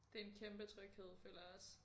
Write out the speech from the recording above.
Det en kæmpe tryghed føler jeg også